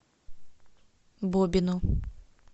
бобину